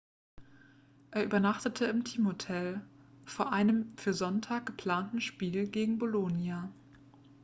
er übernachtete im teamhotel vor einem für sonntag geplanten spiel gegen bolonia